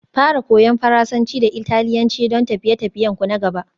Fara Koyan Faransanci da Italiyanci don tafiye-tafiyenku na gaba